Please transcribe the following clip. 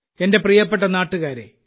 എന്റെ പ്രിയപ്പെട്ട നാട്ടുകാരേ